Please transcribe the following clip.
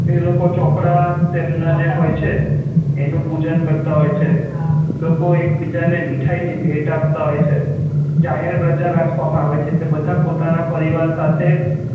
એ લોકો ચોપડા તેમના જે હોય છે એનું પૂજન કરતા હોય છે લોકો એક બીજા ને મીઠાઈ ની ભેટ આપતા હોય છે જાહેર રજા રાખવા મા આવે છે એટલે બધા પોતાના પરિવાર સાથે